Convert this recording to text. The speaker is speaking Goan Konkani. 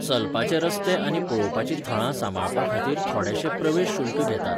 चलपाचे रस्ते आनी पळोवपाचीं थळां सांबाळपाखातीर थोडेंशें प्रवेश शुल्क घेतात.